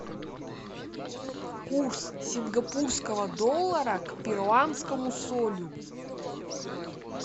курс сингапурского доллара к перуанскому солю